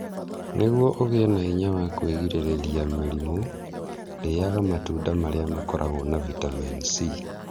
Nĩguo ũgĩe na hinya wa kwĩgirĩrĩria mĩrimũ, rĩaga matunda marĩa makoragwo na vitamin C.